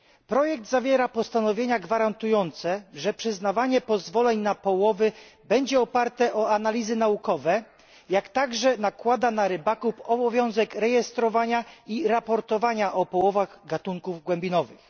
Projekt zawiera postanowienia gwarantujące, że przyznawanie pozwoleń na połowy będzie oparte o analizy naukowe, i jednocześnie nakłada na rybaków obowiązek rejestrowania i raportowania o połowach gatunków głębinowych.